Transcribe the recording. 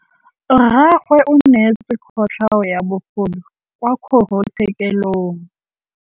Rragwe o neetswe kotlhaô ya bogodu kwa kgoro tshêkêlông.